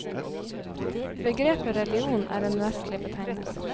Begrepet religion er en vestlig betegnelse.